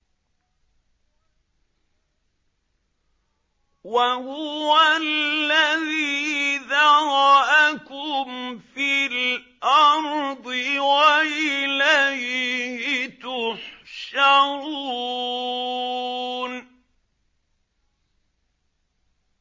وَهُوَ الَّذِي ذَرَأَكُمْ فِي الْأَرْضِ وَإِلَيْهِ تُحْشَرُونَ